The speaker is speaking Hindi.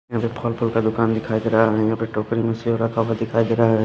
यहां पे फल फूल का दुकान दिखाई दे रहा है और यहां पे टोकरी में सेव रखा हुआ दिखाई दे रहा है।